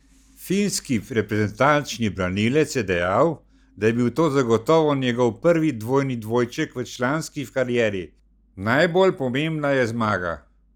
Finski reprezentančni branilec je dejal, da je bil to zagotovo njegov prvi dvojni dvojček v članski karieri: 'Najbolj pomembna je zmaga.